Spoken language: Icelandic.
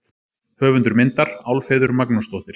Höfundur myndar: Álfheiður Magnúsdóttir.